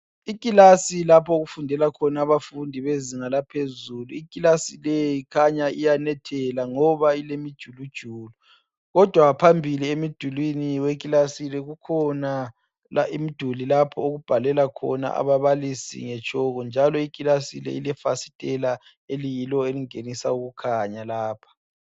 Ikilasi lapho okufundela khona abezinga laphezulu ikhanya iyanetha ngoba kulemijulujulu kodwa phambili emdulini kukhona imiduli lapho okubhalela khona ababalisi ngetshoko. Kulefasitela elingenisa ukukhanya lapha.